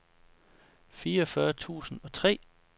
fireogfyrre tusind og tre